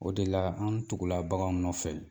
O de la an tugula baganw nɔfɛ